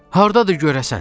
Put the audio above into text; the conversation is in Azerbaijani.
Hardadır görəsən?